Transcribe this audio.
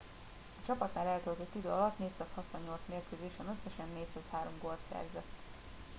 a csapatnál eltöltött idő alatt 468 mérkőzésen összesen 403 gólt szerzett